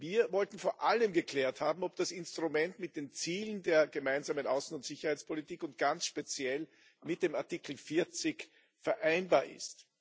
Wir wollten vor allem geklärt haben, ob das Instrument mit den Zielen der Gemeinsamen Außen und Sicherheitspolitik und ganz speziell mit dem Artikel 40 vereinbar ist.